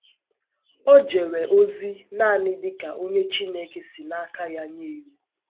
O jere ozi nanị dị ka onye Chineke si n’aka ya nye iwu.